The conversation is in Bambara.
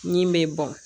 Min bɛ bɔn